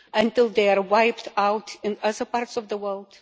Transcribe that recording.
Until they are wiped out in other parts of the world?